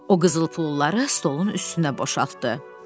O qızıl pulları stolun üstünə boşaltdı.